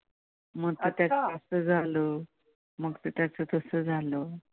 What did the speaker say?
मग त्याचं तसं झालं.